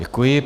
Děkuji.